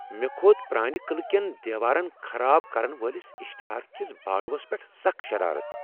مےٚكھوٚت پرٲنہِ قعلہٕ کِین دیوارن خراب کرن وٲلس اشتہار كِس باڈوس پیٹھ سخ شرارتھ ۔